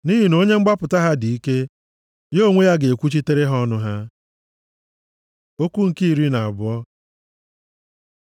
nʼihi na onye mgbapụta ha dị ike; ya onwe ya ga-ekwuchitere ha ọnụ ha. Okwu nke iri na abụọ